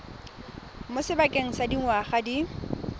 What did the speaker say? mo sebakeng sa dingwaga di